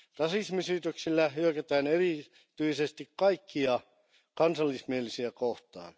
Rasismisyytöksillä hyökätään erityisesti kaikkia kansallismielisiä kohtaan.